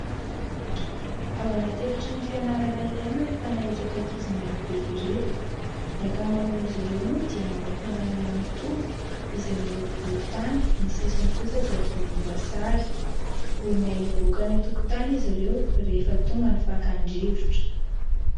Ao anaty efitrano fianarana iray no ahitana ireto ankizy maro be ireto ny ankamaroan'izy ireo moa dia manao fanamiana mitovy izay miloko volontany, ny sisiny kosa dia volomboasary, vonona hivoaka any an-tokotany izy ireo rehefa tonga ny fakan-drivotra.